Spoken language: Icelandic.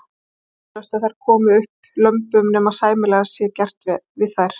Það er vonlaust að þær komi upp lömbum nema sæmilega sé gert við þær.